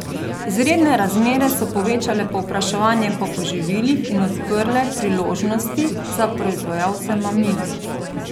Izredne razmere so povečale povpraševanje po poživilih in odprle priložnosti za proizvajalce mamil.